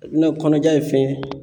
kɔnɔja ye fɛn ye.